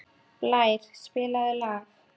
Blær, spilaðu lag.